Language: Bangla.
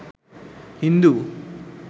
হিন্দু